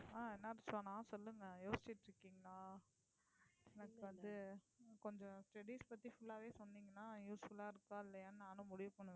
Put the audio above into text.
ஆஹ் என்னாச்சு சனா சொல்லுங்க யோசிச்சுட்டு இருக்கீங்களா எனக்கு வந்து கொஞ்சம் studies பத்தி full ஆவே சொன்னீங்கன்னா useful ஆ இருக்கா இல்லையான்னு நானும் முடிவு பண்ணுவேன்